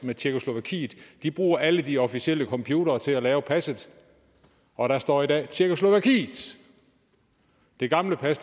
tjekkoslovakiet de bruger alle de officielle computere til at lave passet og der står i dag tjekkoslovakiet i det gamle pas